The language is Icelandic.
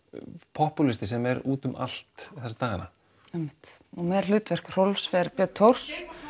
popúlisti sem er útum allt þessa dagana einmitt og með hlutverk Rolf fer Björn Thors